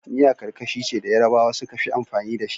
miya karkashi ce da Yarabawa sukafi anfani da shi